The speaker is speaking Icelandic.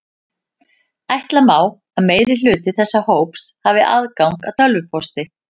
Ætla má að meirihluti þessa hóps hafi aðgang að tölvupósti.